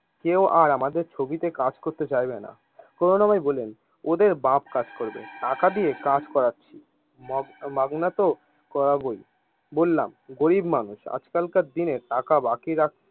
কেও আর আমাদের ছবিতে কাজ করতে চাইবেন না। কোরুনাময় বললেন ওদের বাপ কাজ করবে টাকা দিয়ে কাজ করাচ্ছি মগ মাগনাত করাবই, বললাম গরিব মানুষ আজ কাল কার দিনে টাকা বাকি রাখতে।